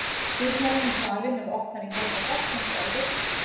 Dyrnar inn í salinn eru opnar í hálfa gátt eins og áður.